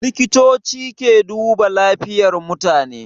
likitoci ke duba lafiyan mutane